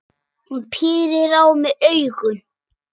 Hún pírir á mig augun.